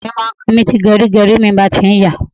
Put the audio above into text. Irun mi máa ń kan mi tí gẹrígẹrí mi bá ti ń yàá.